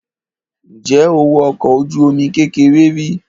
Ǹjẹ́ o wọ ọkọ̀ ojú-omi kékeré rí?